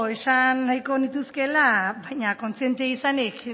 esan nahiko nituzkeela baina kontziente izanik